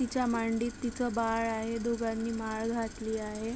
तिच्या मांडीत तिच बाळ आहे दोघांनी माळ घातली आहे.